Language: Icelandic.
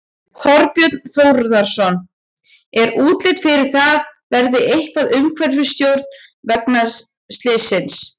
Þorbjörn Þórðarson: Er útlit fyrir að það verði eitthvað umhverfistjón vegna slyssins?